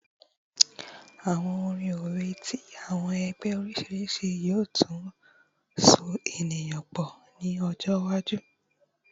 Awọn orin owe ti awọn ẹgbẹ oriṣiriṣi yoo tun so eniyan pọ ni ọjọ iwaju